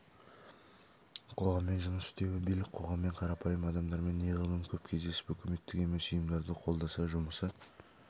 қоғаммен жұмыс істеуі билік қоғаммен қарапайым адамдармен неғұрлым көп кездесіп үкіметтік емес ұйымдарды қолдаса жұмысы